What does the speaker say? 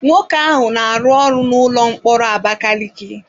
Nwoke ahụ na-arụ ọrụ n'ụlọ mkpọrọ Abakaliki.